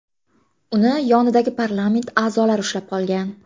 Uni yonidagi parlament a’zolari ushlab qolgan.